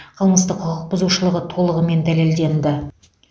қылмыстық құқықбұзушылығы толығымен дәлелденді